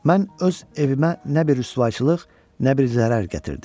Mən öz evimə nə bir rüsvayçılıq, nə bir zərər gətirdim.